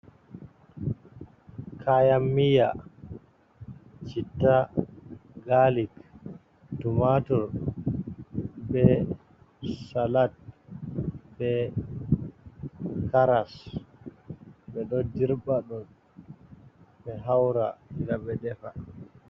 Kaayan-miya, chitta, gaalik, tumaatur, be salat, be karas, ɓe ɗo dirɓa ɗum ɓe haura ngam ɓe defa.